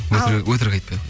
өтірік айтпайық